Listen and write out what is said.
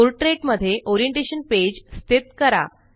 portrait मध्ये orientation page स्थित करा